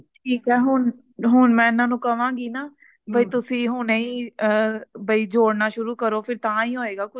ਠੀਕ ਆਏ ਹੁਣ ਮੈਂ ਇਹਨਾਂ ਨੂੰ ਕਵਾਂ ਗੀ ਨਾ ਬਈ ਤੁਸੀ ਹੁਣੇ ਹੀ ਅ ਜੋੜਨਾ ਸ਼ੁਰੂ ਕਰੋ ਤਾਹਿ ਹੋਏਗਾ ਕੁਛ